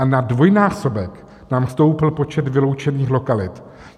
A na dvojnásobek nám stoupl počet vyloučených lokalit.